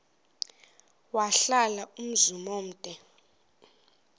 wahlala umzum omde